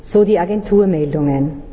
so die Agenturmeldungen.